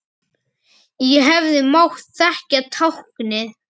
Ég hefði mátt þekkja táknið.